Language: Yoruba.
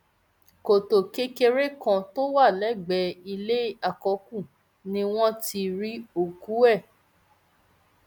kọtò kékeré kan tó wà lẹgbẹẹ ilé àkọkù ni wọn ti rí òkú ẹ